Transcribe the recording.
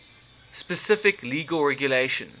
specific legal regulations